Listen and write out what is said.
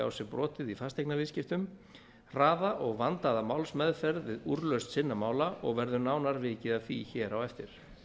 á sér brotið í fasteignaviðskiptum hraða og vandaða málsmeðferð við úrlausn sinna mála og verður nánar vikið að því hér á eftir